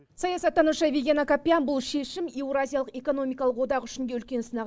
саясаттанушы виген акопян бұл шешім еуразиялық экономикалық одақ үшін де үлкен сынақ